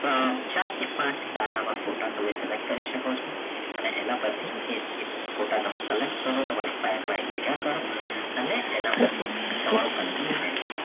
પણ ચાર કે પાંચ સારા એવા photo તમે select કરી શકો છો હવે એના પરથી તમે photo collect કરો તમારી ફાઈલમાં કરો અને તેના પછી તમારો content ready થસે